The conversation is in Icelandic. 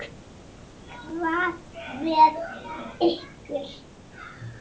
Hvað með ykkur?